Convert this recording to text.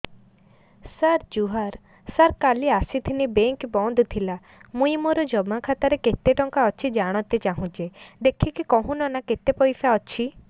ସାର ଜୁହାର ସାର କାଲ ଆସିଥିନି ବେଙ୍କ ବନ୍ଦ ଥିଲା ମୁଇଁ ମୋର ଜମା ଖାତାରେ କେତେ ଟଙ୍କା ଅଛି ଜାଣତେ ଚାହୁଁଛେ ଦେଖିକି କହୁନ ନା କେତ ପଇସା ଅଛି